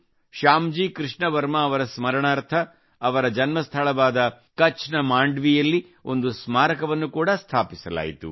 ಶ್ಯಾಮಜಿ ಕೃಷ್ಣ ವರ್ಮಾ ಅವರ ಸ್ಮರಣಾರ್ಥ ಅವರ ಜನ್ಮಸ್ಥಳವಾದ ಕಛ್ ನ ಮಾಂಡ್ವಿಯಲ್ಲಿ ಒಂದು ಸ್ಮಾರಕವನ್ನು ಕೂಡಾ ಸ್ಥಾಪಿಸಲಾಯಿತು